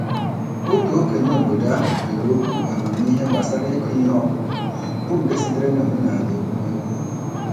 Otu okenye obodo ahụ kere okwu amamiihe gbasara ịkụ ihe ọkụkụ, bụ nke sitere n'omenala ekwumekwu.